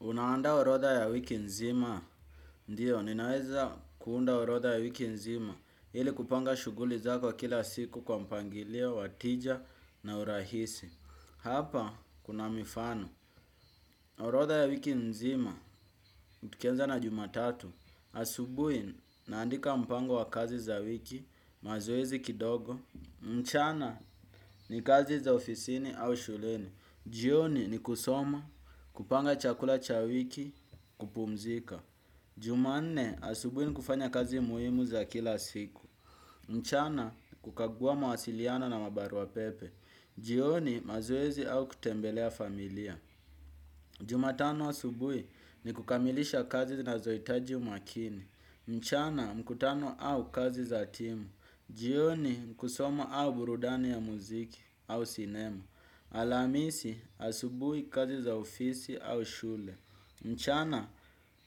Unaandaa orodha ya wiki nzima, ndio, ninaweza kuunda orodha ya wiki nzima, ili kupanga shughuli zako kila siku kwa mpangilio, wa tija na urahisi. Hapa, kuna mifano, orodha ya wiki nzima, tukianza na jumatatu, asubuhi, naandika mpango wa kazi za wiki, mazoezi kidogo, mchana, ni kazi za ofisini au shuleni. Jioni ni kusoma, kupanga chakula cha wiki, kupumzika. Jumamne asubui ni kufanya kazi muhimu za kila siku. Mchana kukagua mawasiliano na mabarua pepe. Jioni mazoezi au kutembelea familia. Jumatano asubui ni kukamilisha kazi zinazohitaji umakini. Mchana mkutano au kazi za timu. Jioni kusoma au burudani ya muziki au sinema. Alamisi asubui kazi za ofisi au shule. Mchana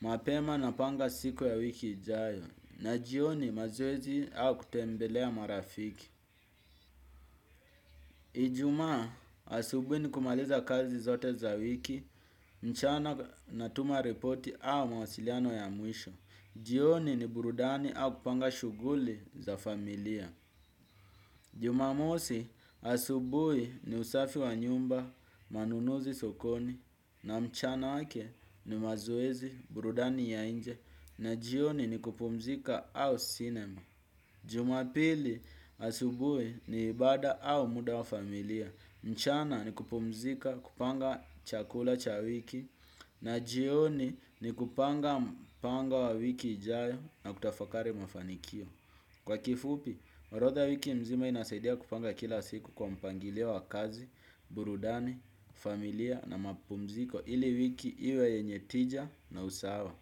mapema napanga siku ya wiki ijayo na jioni mazoezi au kutembelea marafiki. Ijumaa asubui ni kumaliza kazi zote za wiki. Mchana natuma ripoti au mawasiliano ya mwisho. Jioni ni burudani au kupanga shughuli za familia. Jumamosi asubuhi ni usafi wa nyumba. Manunuzi sokoni na mchana yake ni mazoezi. Burudani ya nje na jioni ni kupumzika au sinema. Jumapili asubui ni ibada au muda wa familia. Mchana ni kupumzika kupanga chakula cha wiki na jioni ni kupanga wiki ijayo na kutafakari mafanikio. Kwa kifupi, orodha wiki mzima inasaidia kupanga kila siku kwa mpangilio wa kazi, burudani, familia na mapumziko ili wiki iwe yenye tija na usawa.